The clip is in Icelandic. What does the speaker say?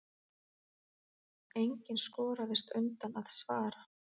Enginn skoraðist undan að svara.